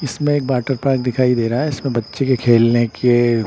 इसमें एक water park दिखाई दे रहा है इसमें बच्चे के खेलने के--